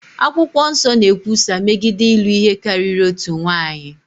Akwụkwọ Nsọ na-ekwusa megide ịlụ ihe karịrị otu nwaanyị.